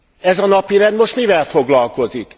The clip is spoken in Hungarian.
Ez a napirend most mivel foglalkozik?